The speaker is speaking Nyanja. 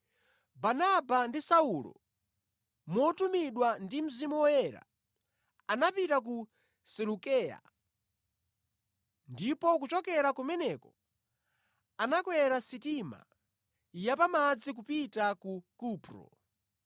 Barnaba ndi Saulo motumidwa ndi Mzimu Woyera, anapita ku Selukeya ndipo kuchokera kumeneko anakwera sitima ya pamadzi kupita ku Kupro.